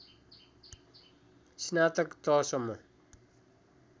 स्नातक तहसम्म